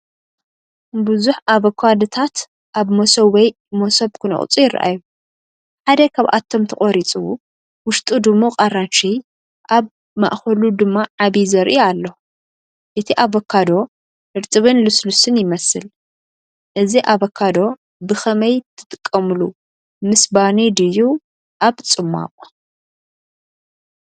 ብዙሕ ኣቮካዶታት ኣብ መሶብ ወይ መሶብ ክነቕጹ ይረኣዩ። ሓደ ካብኣቶም ተቖሪጹ፡ ውሽጡ ድሙቕ ኣራንሺ፡ ኣብ ማእከሉ ድማ ዓቢ ዘርኢ ኣሎ። እቲ ኣቮካዶ ርጥብን ልስሉስን ይመስል። እዚ ኣቮካዶ ብከመይ ትጥቀምሉ ምስ ባኒ ድዩ ኣብ ጽማቝ?